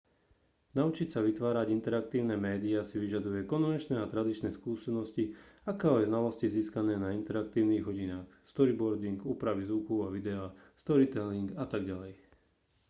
naučiť sa vytvárať interaktívne médiá si vyžaduje konvenčné a tradičné zručnosti ako aj znalosti získané na interaktívnych hodinách storyboarding úpravy zvuku a videa storytelling atď.